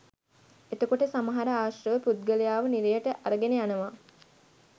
එතකොට සමහර ආශ්‍රව පුද්ගලයාව නිරයට අරගෙන යනවා